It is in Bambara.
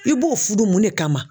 I b'o fudu mun de kama?